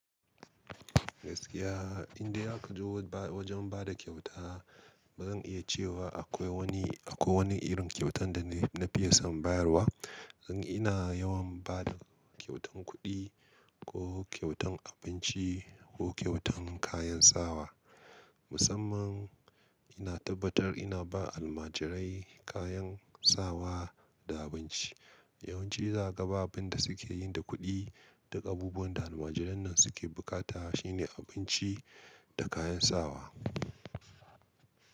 Gaskiya, inda aka zo wajen ba da kyauta, bazan iya cewa akwai wani irin kyautan da na fiya son bayarwa. Dan ina yawan ba da kyautan kuɗi ko kyautan abinci ko kyautan kayan sawa. Musamman ina tabbatar ina ba almajirai kayan sawa da abinci. Yawanci za ka ga abinda suke yin da kuɗi, duk abubuwan da almajiranan suke bukata shine abinci da kayan sawa.